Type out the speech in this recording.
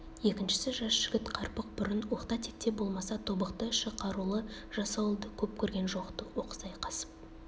екіншісі жас жігіт қарпық бұрын оқта-текте болмаса тобықты іші қарулы жасауылды көп көрген жоқ-ты оқыс айқасып